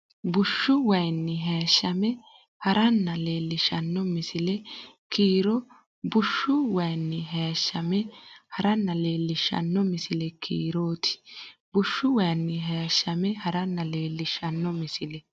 Bushshu wayinni haashshame ha’ranna leellishshanno misile kiiro ti Bushshu wayinni haashshame ha’ranna leellishshanno misile kiiro ti Bushshu wayinni haashshame ha’ranna leellishshanno misile.